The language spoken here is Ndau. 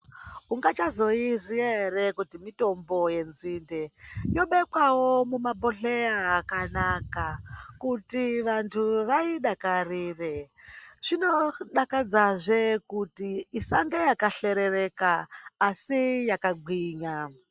Ungavhazoiziya ere kuti mitombo yenzinde yobekwawo mumabhohleya akanaka kuti vantu vaidakarire zvinodakadzazve kuti isange yakaserereka ASI yakagwinya